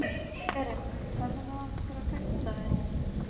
Erik, ferð þú með okkur á fimmtudaginn?